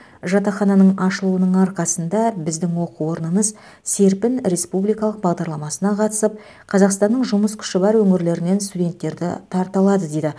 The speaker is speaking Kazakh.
жатақхананың ашылуының арқасында біздің оқу орнымыз серпін республикалық бағдарламасына қатысып қазақстанның жұмыс күші бар өңірлерінен студенттерді тарта алады дейді